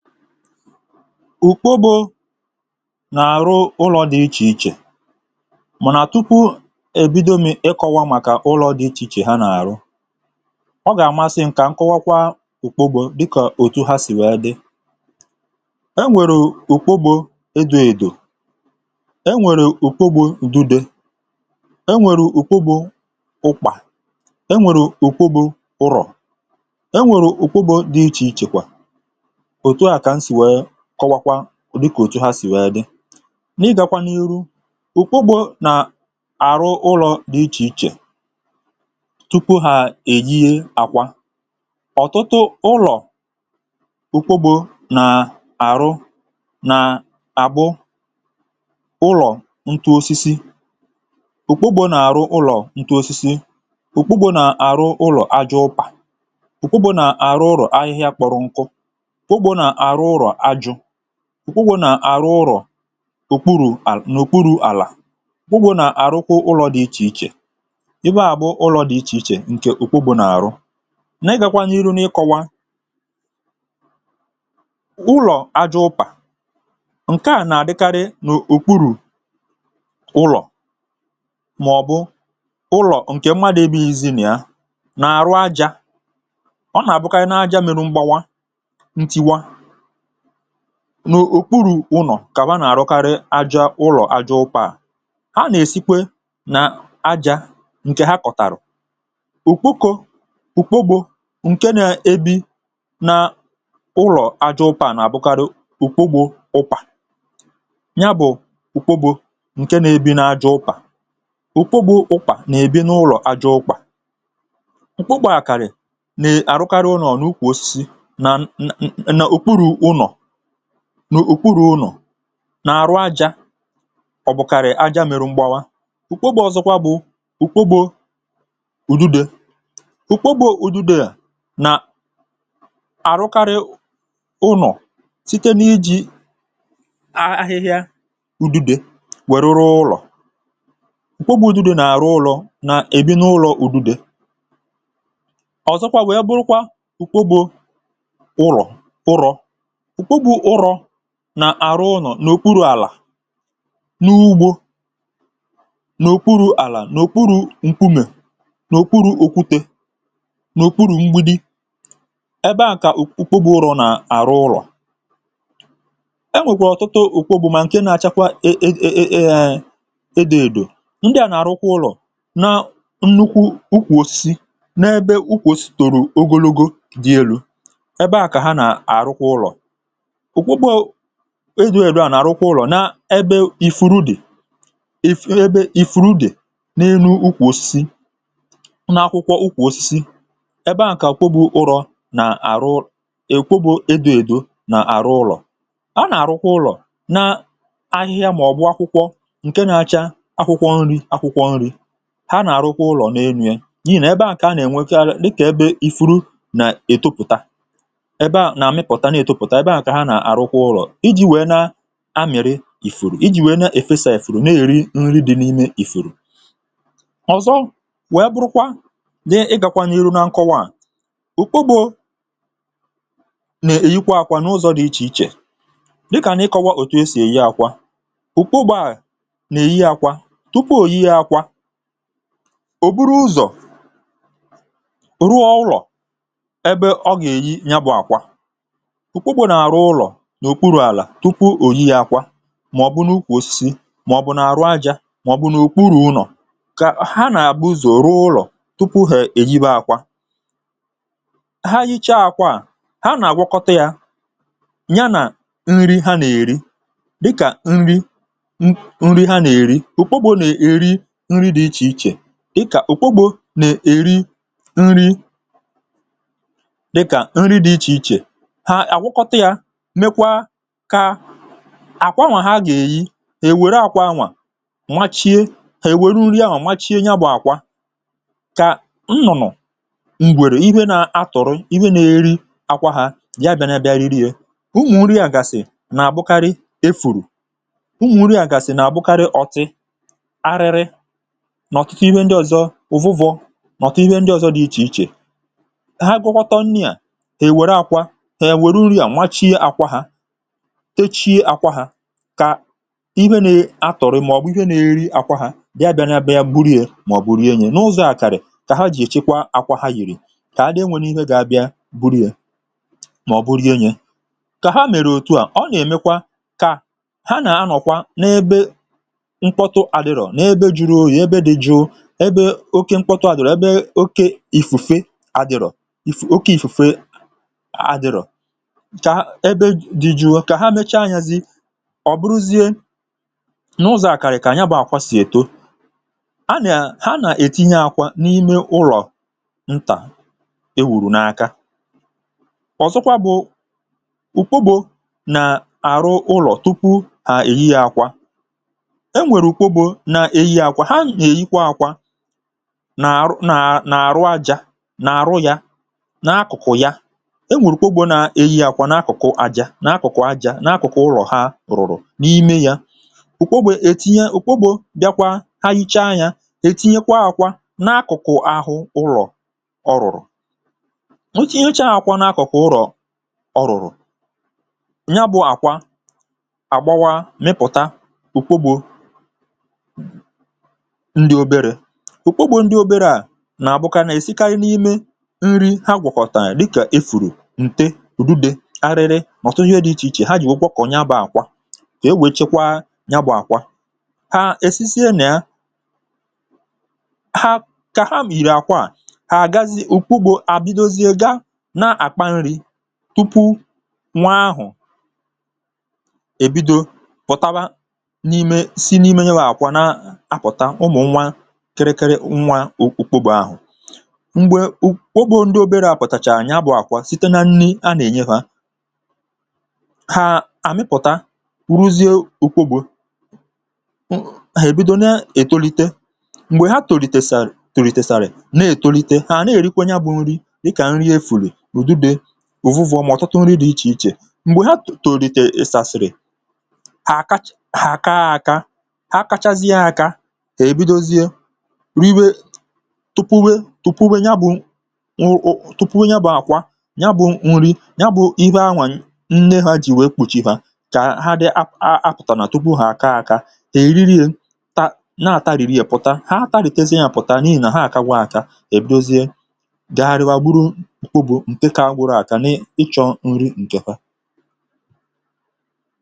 ùkpòbo n’àrụ̀ ụlọ̇ dị ichè ichè, mà nà tupu èbido mị̀ ịkọ̇wa màkà ụlọ̇ dị ichè ichè ha nà-àrụ, ọ gà-àmasị nkà nkọ̀wakwa ùkpòbo, dịkà òtù ha sì wèe dị. E nwèrè ùkpòbo èdòèdò, e nwèrè ùkpòbo ùdùdè, e nwèrè ùkpòbo ụ̀kpà, e nwèrè ùkpòbo ụ̀kpụbụ ụrọ̇. Kọwa kwa dịkà òtù ha si̇ wèe dị n’ịgȧkwà n’iru, ụkpụgbọ̇ nà-àrụ ụlọ̀ dị̀ ichè ichè tupu ha èyìe àkwà. Ọ̀tụtụ ụlọ̀ ụkpụgbọ̇ nà-àrụ nà-àbụ ụlọ̀ ntụ osisi; ụkpụgbọ̇ nà-àrụ ụlọ̀ ntụ osisi; ụkpụgbọ̇ nà-àrụ ụlọ̀ aja ụpà; ụkpụgbọ̇ nà-àrụ ụlọ̀ ahịhịa kpọ̀rọ̀ nkụ. Ụgwọ̇ nà àrụ ụrọ̀ ùkwurù̇ àlà, ùkwurù̇ àlà ugwụ̇ nà àrụkwù̇ ụlọ̇ dị̇ ichè ichè, ibe à bụ̇ ụlọ̇ dị̇ ichè ichè. Ǹkè ùkwo bụ̇ nà àrụ, na-ịgȧkwa n’iru n’ikọwa ụlọ̀ aja ụpà, ǹke à nà-àdịkarị n’ùkwurù ụlọ̀, mà ọ̀bụ̀ ụlọ̀ ǹkè mmadụ̇ ebe izì nà ya na-àrụ ajȧ.Ọ nà-àbụkarị na aja mėrụ̇ mgbawa n’ùkpuru̇ ụnọ̀ kà nà-àrụkarị aja, ụlọ̀ aja ụkpọ̇ à, a nà-èsikwe nà aja ǹkè ha kọ̀tàrà ùkpokȯ.Ụkpọ̀gbȯ ǹke nà-èbi nà ụlọ̀ aja ụkpọ̇ à nà-àbụkarị ùkpọ̀gbọ̇ ụkpà, nya bụ̀ ùkpọ̀gbọ̇ ǹke nà-èbi n’ajọ ụkpà. Ùkpọ̀gbọ̇ ụkpà nà-èbi n’ụlọ̀ aja ụkpọ̇ àjọ ụkpà n’ùkwụrụ̇ ụlọ̀ nà-àrụ aja, ọ̀bụ̀kàrị̀ aja mèrù mgbawa. Ụ̀kpọ̀gbė ọ̀zọkwa bụ̀ ụ̀kpọ̀gbė ụ̀dịdị; ụ̀kpọ̀gbė ụ̀dịdị, ị nà-àrụkarị̇ ụlọ̀ site n’iji̇ ahịhịa ụ̀dịdị wèe rụrụ ụlọ̀.Ụ̀kpọ̀gbị̇ ụ̀dịdị nà-àrụ ụlọ̇ nà-èbi n’ụlọ̀ ụ̀dịdị ọ̀zọkwa, wèe bụkwa ụ̀kpọ̀gbė ụlọ̀ ụrọ̀ ùkpuru̇ ụrọ̇ nà àrụ ụ̀nọ̀ n’òkpuru̇ àlà n’ugbȯ, n’ùkpuru̇ àlà nà òkpuru̇ ǹkumè, nà òkpuru̇ òkwute, nà òkpuru̇ mgbidi. Ẹbẹ à kà òkpuru̇ ụrọ̇ nà àrụ ụlọ̀, e nwèkwà ọ̀tụtụ òkpuru̇, mà ǹke na-achakwa ẹẹ̇ ẹ̀dẹ̀ à nà àrụ ụrọ̀ na nnukwu ukwòsi n’ẹbẹ ukwòsi tòrò ogologo, dị elu̇ .Ẹbẹ à kà ha nà-àrụkwa ụlọ̀ ùkwùkwò, édù èrù, a nà-àrụkwa ụlọ̀ n’ebe ìfùrù dì, ìfè ebe ìfùrù dì n’ènù̇ ukwù osisi nà akwụkwọ ụkwụ̇ osisi. Ẹbẹ a kà akwụkwọ ụlọ̇ nà-àrụ ụlọ̀ èkwobȯ, édù èdù nà àrụ ụlọ̀. A nà-àrụkwa ụlọ̀ n’ahịhịa, màọ̀bụ̀ akwụkwọ ǹkè na-acha akwụkwọ nri̇.Akwụkwọ nri̇ ha nà-àrụkwa ụlọ̀ n’ènù̇ ye iyi̇, nà ebe a kà a nà-ènwekwa, dịkà ebe ìfùrù nà-ètopùta amị̀rị ìfùrù, iji wèe na-èfesa èfùrù, na-èri nri dị̇ n’ime ìfùrù. Ọ̀zọ wèe bụrụkwa n’ịgàkwà n’ihu na nkọwaà, ùkpụgbọ̀ nà-èyikwa àkwà n’ụzọ̇ nà ichè ichè, dịkà n’ịkọwà òtù e sì èyi àkwà. Ụkpụgbọ̀ à nà-èyighị yȧ àkwà tupu òyighị yȧ àkwà, òburu ụzọ̀ ruo ọrụ̀ ebe ọ gà-èyi nya bụ̇ àkwà n’òkpuru̇ àlà, tupu òyi yȧ àkwà, mà ọ̀ bụ n’ùkwùòsi, mà ọ̀ bụ nà-àrụ ajȧ, mà ọ̀ bụ n’òkpuru̇ ụnọ̀, kà ha nà-àgbuzòru ụlọ̀ tupu hà èyìbe àkwà. Ha yìchaa àkwà à ha nà-àgwụkọtà yȧ, ya nà nri ha nà-èri, dịkà nri n’nri ha nà-èri. Ùkpụgbọ̇ nà-èri nri dị ichè ichè; àkwà anwà ha gà-èyi, è wère àkwà anwà machie, è wère uri ahụ̀ machie ya bụ̀ àkwà kà nnụ̀nụ̀ m̀gwèrè ihė na-atọ̀rọ̀, ihė na-eri àkwà hȧ, ya bị̇ȧ na-abịa, riri ye ụmụ̀ nri àgàsì nà-àbụkarị efùrù .Ụmụ̀ nri àgàsì nà-àbụkarị ọ̀tị arịrị, nà ọ̀tịtị ihė ndị ọ̀zọ, ụ̀vụ̀vọ nà ọ̀tịtị ihė ndị ọ̀zọ dị̇ ichè ichè. Ha gwakwọtọ nni̇ à, tèchi àkwà hȧ, kà ihė nè atọ̀rọ̀, màọ̀bụ̀ ihė nėeri àkwà hȧ, bịa bịa bịa, gburie, màọ̀bụ̀ gburie, nye n’ụzọ̇ àkàrị̀, kà ha jìchaa àkwà hȧ, yìrì kà ha dị,(um) enwėnù ihe gà-abịa gburie, màọ̀bụ̀ gburie, nye kà ha mèrè òtù à.Ọ nà-èmekwa kà ha nà-anọ̀kwa n’ebe mkpọtụ adịrọ̀, n’ebe juru ya, ebe dí jùọ, ebe oke mkpọtụ à dị̀rọ̀, ebe oke ìfùfè adịrọ̀, oke ìfùfè. Ọ̀ bụrụzie nà ụzọ̀ àkàrị̀, kà ànyà bụ̇ àkwà sì èto, a nà ha nà-ètinye àkwà n’ime ụlọ̀ ntà e wùrù n’aka .Ọ̀zọkwa bụ̀ ùkwo bụ nà àrụ ụlọ̀ tupu à èyì yȧ àkwà, e nwèrè ùkwo bụ nà èyì yȧ àkwà. Ha nà-èyikwa àkwà nà àrụ, nà àrụ ajȧ, nà àrụ yȧ, nà akụ̀kụ̀ ya. Ǹdị òbèrè, ǹdì òbèrè à nà-akụ̀kụ̀ aja, nà-akụ̀kụ̀ ụlọ̀, ha rùrù n’ime yȧ, ụ̀kpọ̀gbė ètinye, ụ̀kpọ̀gbė bịakwa, ha yìchaa yȧ, ètinyekwa àkwà n’akụ̀kụ̀ ahụ̀, ụlọ̀ ọrụ̀rụ̀ n’akụ̀kụ̀ àkwà, n’akụ̀kụ̀ ụrụ̀, ọ rùrù nya bụ̇ àkwà àgbawa, mịpụ̀ta ụ̀kpọ̀gbė, ǹdị obere, ụ̀kpọ̀gbė, ǹdị obere à nà-àbụkwa nà èsikànyị n’ime nri, ha gwọ̀kọ̀tàànyị̀, dịkà efùrù, ǹte rùdìdè, kà e wèchekwaa ya. Bụ̇ àkwà ha èsísì à, nà ya ha kà ha m, um ìrì àkwà à, hà àgazi ùkwù, gbọ̇ àbidozie, gà na-àkpa nri̇, tupu nwa ahụ̀ èbido pụtaba n’ime. Sì n’ime ihe gbọ̀ àkwà, na-apụ̀ta ụmụ̀nwa kerekere, nwa ụkwụkwụ ahụ̀, m̀gbè ụ̀kwọbụ̇ ǹdị obere a pụ̀tàchàrà, ya bụ̇ àkwà, site na nni a nà-ènye ha. Uruzie òkwogbe ebido, na-ètolite, m̀gbè ha tòlite sara, tòlite sara, na-ètolite, ha na-èrikwe, ya bụ̇ nri dịkà nri efùrù ùdu, dị̇ ùvùvọ, mà ọ̀tụtụ nri dị̇ ichè ichè. M̀gbè ha tòlite sàsàrị̀ àkachị ha àkà àakà, ha kachazị yȧ aka, èbidozie, riwe tupuwe, ya bụ tupuwe, ya bụ àkwà, ya bụ̇ nri, ya bụ̇ ihė anwà nne ha jìwè, kà ha dị. Apụ̀tàrà nà tupu ha aka, akȧ tèriri, tà na-àtarìri, yȧ pụ̀ta, ha tarìtizi, yȧ pụ̀ta, n’ihì nà ha àkàgwa akȧ, èbidozie, gagharịwa, gburu okpu̇ ǹke kà gwụrụ aka, n’ịchọ̇ nri ǹkè ha.